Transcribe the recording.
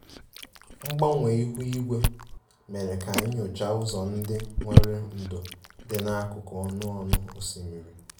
Mgbanwe ihu igwe mere ka anyị nyochaa ụzọ ndị nwere ndò dị n'akụkụ ọnụ ọnụ osimiri